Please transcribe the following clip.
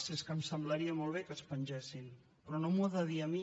si és que em semblaria molt bé que es pengessin però no m’ho ha de dir a mi